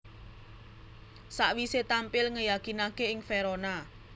Sakwisé tampil ngeyakinaké ing Verona